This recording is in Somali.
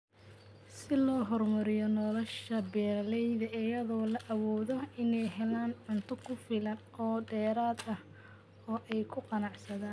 Si loo horumariyo nolosha beeralayda iyadoo la awoodo inay helaan cunto ku filan oo dheeraad ah oo ay ku ganacsadaan.